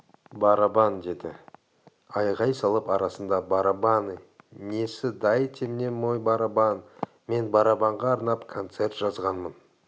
барабан деді айғай салып арасында барабаны несі дайте мне мой барабан мен барабанға арнап концерт жазғанмын